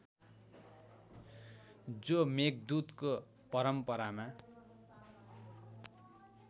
जो मेघदूतको परम्परामा